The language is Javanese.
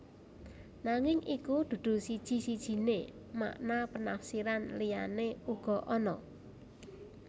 Nanging iki dudu siji sijiné makna penafsiran liyané uga ana